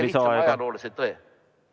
Ütlen ainult lihtsa ajaloolise tõe.